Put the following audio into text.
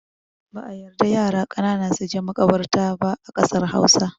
Ba'a yarda yara ƙanana suje maƙabarta ba a ƙasar Hausa.